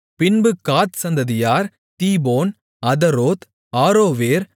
பின்பு காத் சந்ததியார் Dibon Ataroth Aroer